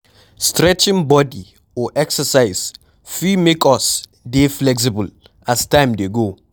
stretching bodi or exercise fit make us dey flexible as time dey go